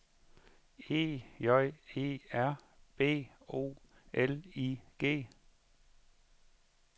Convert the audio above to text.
E J E R B O L I G